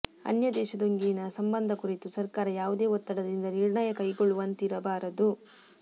ಅನ್ಯ ದೇಶದೊಂದಿಗಿನ ಸಂಬಂಧದ ಕುರಿತು ಸರಕಾರ ಯಾವುದೇ ಒತ್ತಡದಿಂದ ನಿರ್ಣಯ ಕೈಗೊಳ್ಳುವಂತಿರಬಾರದು